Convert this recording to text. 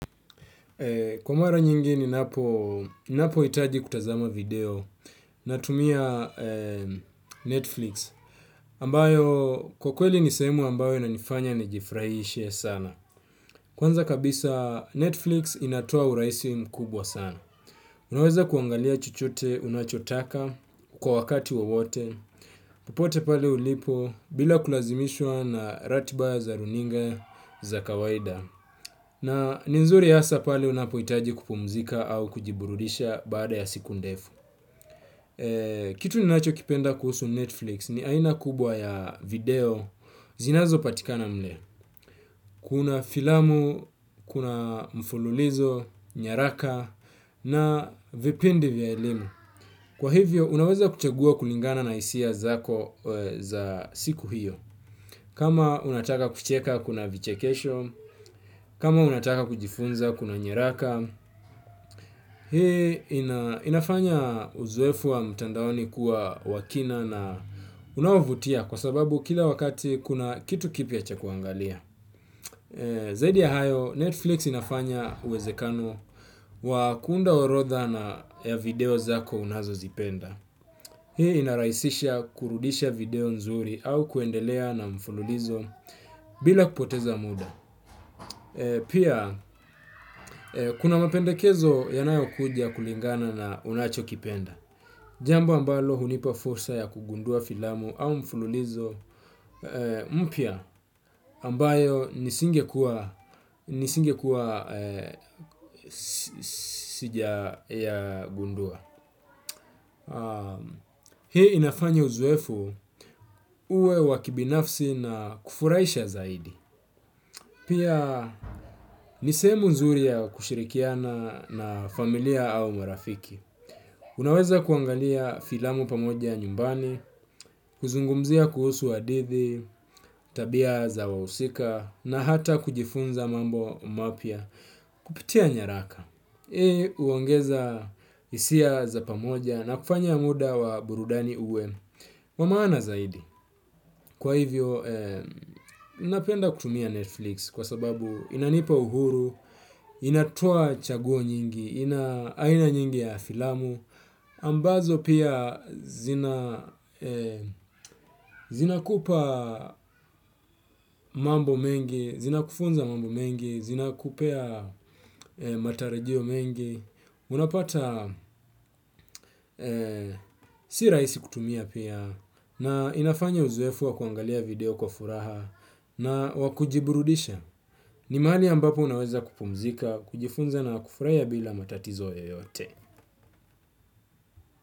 Kwa mara nyingi ni napo hitaji kutazama video na tumia Netflix, ambayo kwa kweli ni semu ambayo inanifanya nijifurahishe sana. Kwanza kabisa Netflix inatoa urahisi mkubwa sana. Unaweza kuangalia chochote unachotaka kwa wakati wowote, popote pale ulipo bila kulazimishwa na ratiba za runinga za kawaida. Na ni nzuri hasa pale unapohitaji kupumzika au kujiburudisha baada ya siku ndefu. Kitu ninacho kipenda kuhusu Netflix ni aina kubwa ya video zinazo patika na mle. Kuna filamu, kuna mfululizo, nyaraka na vipindi vya elimu. Kwa hivyo, unaweza kuchagua kulingana na hisia zako za siku hiyo. Kama unataka kucheka, kuna vichekesho. Kama unataka kujifunza, kuna nyaraka. Hii inafanya uzuefu wa mtandaoni kuwa wakina na unawavutia kwa sababu kila wakati kuna kitu kipya cha kuangalia. Zaidi ya hayo netflix inafanya uwezekano wa kuunda orodha ya video zako unazozipenda. Hii inaraisisha kurudisha video nzuri au kuendelea na mfululizo bila kupoteza muda. Pia, kuna mapendekezo yanayo kujia kulingana na unacho kipenda. Jambu ambalo hunipa fursa ya kugundua filamu au mfululizo mpya ambayo nisinge kuwa sijayagundua. Hii inafanya uzoefu uwe wa kibinafsi na kufurahisha zaidi. Pia nisemu nzuri ya kushirikiana na familia au marafiki. Unaweza kuangalia filamu pamoja nyumbani, kuzungumzia kuhusu hadithi, tabia za wahsika, na hata kujifunza mambo mapya kupitia nyaraka. Hii huongeza hisia za pamoja na kufanya muda wa burudani uwe wa maana zaidi. Kwa hivyo, ninapenda kutumia Netflix kwa sababu inanipa uhuru, inatoa chaguo nyingi, ina aina nyingi ya filamu, ambazo pia zina kupa mambo mengi, zina kufunza mambo mengi, zina kupea matarajio mengi. Unapata si raihsi kutumia pia na inafanya uzoefu wa kuangalia video kwa furaha na wakujiburudisha. Ni mahali ambapo unaweza kupumzika, kujifunza na kufurahia bila matatizo yeyote.